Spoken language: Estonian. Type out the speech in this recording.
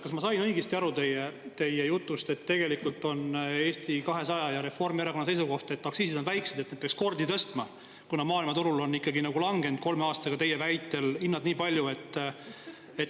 Kas ma sain õigesti aru teie jutust, et tegelikult on Eesti 200 ja Reformierakonna seisukoht, et aktsiisid on väiksed, neid peaks tõstma, kuna maailmaturul on langenud kolme aastaga teie väitel hinnad nii palju?